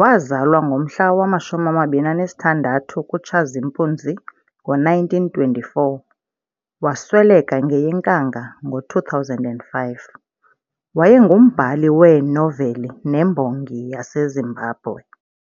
waazalwa ngomhla wama-26 kuTshazimpuzi ngo-1924 - wasweleka ngeyeNkanga ngo-2005, wayengumbhali weenoveli nembongi yaseZimbabwe.